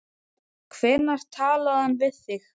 Hvenær talaði hann við þig?